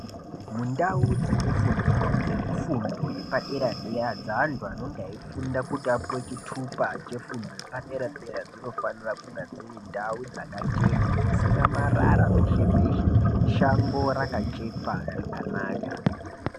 Mundau dzekufundira dzekufundo yepadera-dera ,dzeantu anonga eifunda kuti apuwe chithupa chefundo yepadera-dera, dzimofanira kunga dziri ndau dzakachena, dzisina marara peshe-peshe, shango rakachekwa zvakanaka.